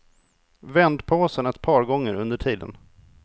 Vänd påsen ett par gånger under tiden.